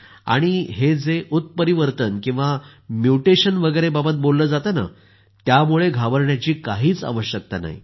आणि हे जे उत्परिवर्तन किंवा म्युटेशन वगैरेबाबत बोललं जातं त्यामुळे घाबरण्याची काहीच आवश्यकता नाही